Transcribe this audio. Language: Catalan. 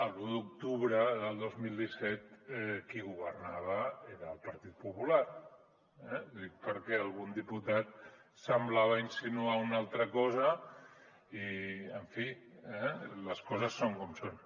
l’un d’octubre del dos mil disset qui governava era el partit popular eh ho dic perquè algun diputat semblava insinuar una altra cosa i en fi les coses són com són